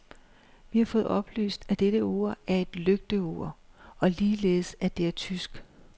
Vi har fået oplyst at dette ur er et lygteur, og ligeledes at det er tysk.